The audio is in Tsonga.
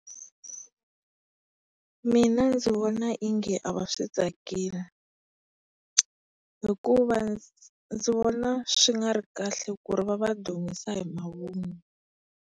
Mina ndzi vona ongi a va swi tsakeli. Hikuva ndzi vona swi nga ri kahle ku ri va va dumisa hi mavunwa.